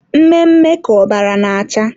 Mme mme ka ọbara na-acha.